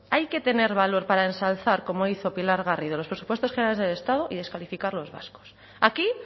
hay que tener valor para ensalzar como hizo pilar garrido los presupuestos generales del estado y descalificar los vascos aquí